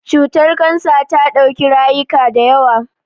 Cutar Kansa ta dauki rayuka da yawa.